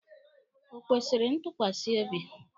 O kwesịrị ntukwasi obi?